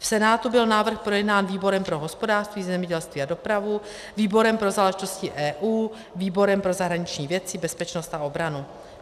V Senátu byl návrh projednán výborem pro hospodářství, zemědělství a dopravu, výborem pro záležitosti EU, výborem pro zahraniční věci, bezpečnost a obranu.